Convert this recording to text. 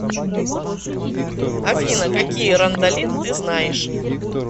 афина какие рандалин ты знаешь